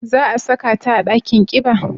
Za a saka ta a dakin kiba?